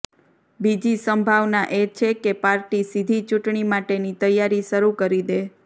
બીજી સંભાવના એ છે કે પાર્ટી સીધી ચૂંટણી માટેની તૈયારી શરુ કરી દે